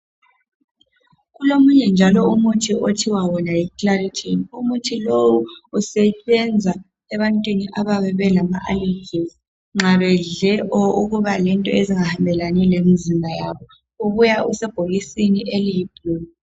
Kulomunye njalo umuthi okuthiwa yiclaritin, umuthi lowu usebenza ebantwini abalama alejizi, nxa bedle izinto ezinga hambe lani lemizimba yabo. ubuya usebhokisini eliyibhulu.